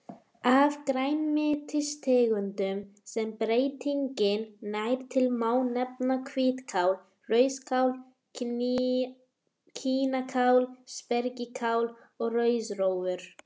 Af grænmetistegundum sem breytingin nær til má nefna hvítkál, rauðkál, kínakál, spergilkál og rauðrófur.